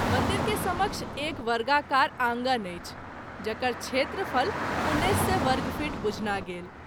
मंदिर के समक्ष एक वर्गाकार आँगन अछि जकर क्षेत्रफल १९०० वर्गफीट बुझना गेल।